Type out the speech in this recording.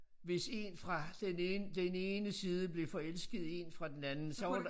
Hvis 1 fra den ene den ene side blev forelsket i 1 fra den anden så var der